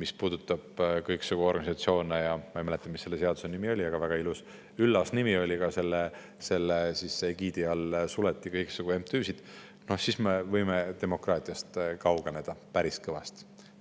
mis puudutab kõiksugu organisatsioone – ma ei mäleta, mis selle seaduse nimi oli, aga väga ilus ja üllas nimi oli, selle egiidi all suleti kõiksugu MTÜ-sid –, siis me võime demokraatiast kaugeneda päris kõvasti.